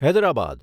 Hyderabad